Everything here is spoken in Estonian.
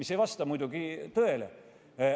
See ei vasta muidugi tõele.